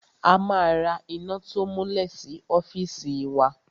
A ma ra iná to múlẹ̀ sí ọ́fìsì wa.